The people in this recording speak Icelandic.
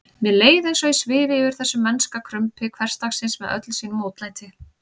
Mér leið eins og ég svifi yfir þessu mennska krumpi hversdagsins með öllu sínu mótlæti.